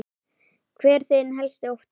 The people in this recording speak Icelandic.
Hver er þinn helsti ótti?